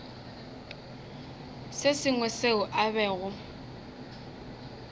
se sengwe seo a bego